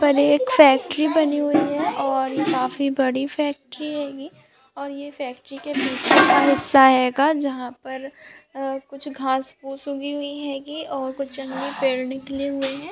यहाँ पर एक फैक्ट्री बनी हुई है ये काफी बड़ी फैक्ट्री है ये और ये फैक्ट्री का पीछे का हिस्सा होगा जहाँ पर अ कुछ घास-पूस होगी और कुछ जंगली पेड़ निकले हुए है।